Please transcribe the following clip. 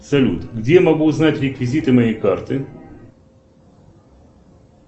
салют где я могу узнать реквизиты моей карты